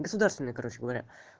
государственный короче говоря